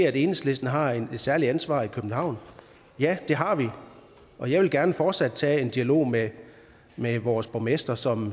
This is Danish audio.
at enhedslisten har et særligt ansvar i københavn ja det har vi og jeg vil gerne fortsat tage en dialog med med vores borgmester som